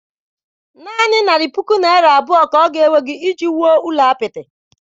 Naanị narị puku naira abụọ, ka oga ewegị iji wuo ụlọ apịtị